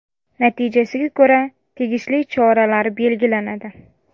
Natijasiga ko‘ra tegishli choralar belgilanadi.